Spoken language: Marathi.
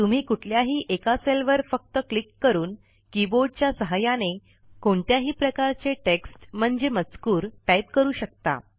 तुम्ही कुठल्याही एका सेलवर फक्त क्लिक करून कीबोर्डच्या सहाय्याने कुठल्याही प्रकारचे टेक्स्ट म्हणजे मजकूर टाईप करू शकता